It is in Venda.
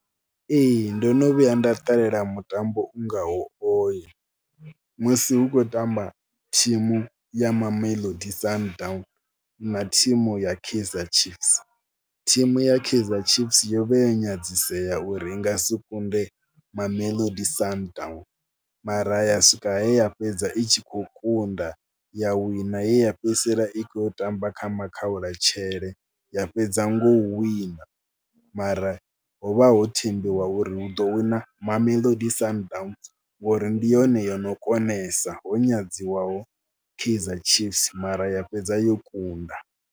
Ee ndo no vhuya nda ṱalela mutambo u ngaho oyo musi hu khou tamba thimu ya Mamelodi Sundowns na thimu ya Kaizer Chiefs. Thimu ya Kaizer Chiefs yo vha ya nyadzisea uri i nga si kunde Mamelodi Sundowns mara ya swika he ya fhedza i tshi khou kunda ya wina ye fhedzisela i khou tamba kha makhaulatshele ya fhedza ngo wina. Mara ho vha ho thembiwa uri hu ḓo wina Mamelodi Sundowns ngori ndi yone yo no konesa, ho nyadziwaho Kaizer Chiefs mara ya fhedza yo kunda.